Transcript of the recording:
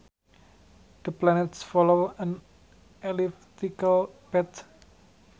The planets follow an elliptical path